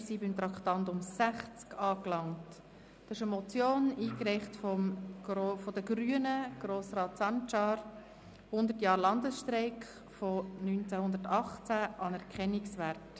Wir sind beim Traktandum 60 angelangt, einer von Grossrat Sancar von den Grünen eingereichten Motion: «100 Jahre Landesstreik von 1918: Anerkennungswert».